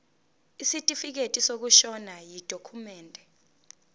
isitifikedi sokushona yidokhumende